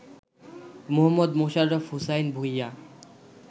Mohammad Mosharraf Hossain Bhuiyan